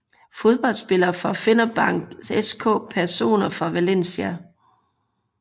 Fodboldspillere fra Fenerbahçe SK Personer fra Valencia